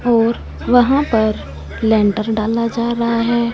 और वहां पर लेंटर डाला जा रहा है।